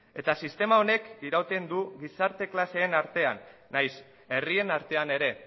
eta sistema honek irauten du gizarte klaseen artean nahiz herrien artean ere